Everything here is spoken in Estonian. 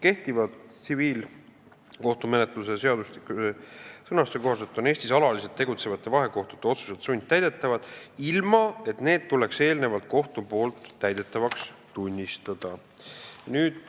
Kehtiva tsiviilkohtumenetluse seadustiku sõnastuse kohaselt on Eestis alaliselt tegutsevate vahekohtute otsused sundtäidetavad, ilma et kohus peaks need eelnevalt täidetavaks tunnistama.